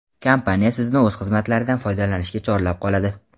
Kompaniya Sizni o‘z xizmatlaridan foydalanishga chorlab qoladi.